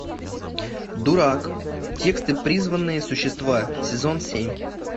дурак тест и призванные существа сезон семь